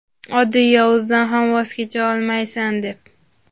oddiy yozuvdan ham voz kecha olmaysan deb.